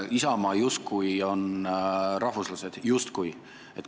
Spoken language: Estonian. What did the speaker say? Isamaa justkui on rahvuslased – justkui!